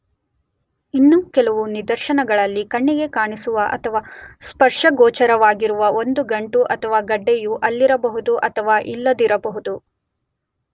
ಇನ್ನು ಕೆಲವು ನಿದರ್ಶನಗಳಲ್ಲಿ, ಕಣ್ಣಿಗೆ ಕಾಣಿಸುವ ಅಥವಾ ಸ್ಪರ್ಶಗೋಚರವಾಗಿರುವ ಒಂದು ಗಂಟು ಅಥವಾ ಗಡ್ಡೆಯು ಅಲ್ಲಿರಬಹುದು ಅಥವಾ ಇಲ್ಲದಿರಬಹುದು.